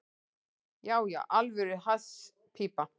Já, já, alvöru hasspípa.